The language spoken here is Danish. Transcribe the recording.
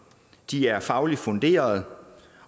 de er fagligt funderede